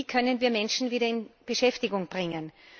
Wie können wir Menschen wieder in Beschäftigung bringen?